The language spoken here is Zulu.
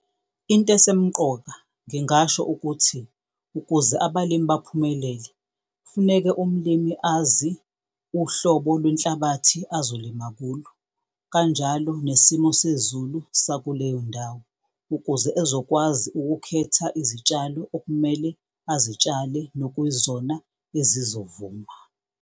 Into esemqoka ngingasho ukuthi ukuze abalimi baphumelele kufuneke umlimi azi uhlobo lwenhlabathi azolima kulo, kanjalo nesimo sezulu sakuleyo ndawo ukuze ezokwazi ukukhetha izitshalo okumele azitshale nokuyizona ezizovuma.